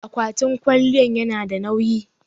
akwatin kwaliyan yanada nawyi